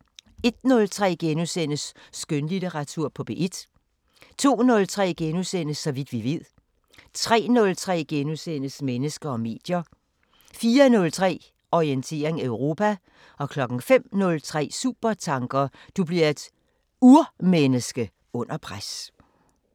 01:03: Skønlitteratur på P1 * 02:03: Så vidt vi ved * 03:03: Mennesker og medier * 04:03: Orientering Europa 05:03: Supertanker: Du bliver et urmenneske under pres